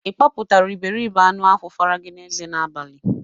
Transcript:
Ị kpapụtara iberibe anụ ahụ faragi n'eze n'abalị?